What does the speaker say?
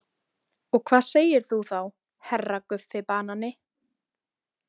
Og hvað segir þú þá HERRA Guffi banani?